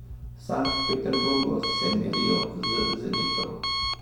V Sankt Peterburgu se merijo z Zenitom.